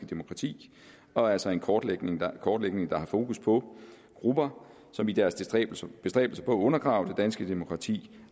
demokrati og altså en kortlægning der kortlægning der har fokus på grupper som i deres bestræbelser på at undergrave det danske demokrati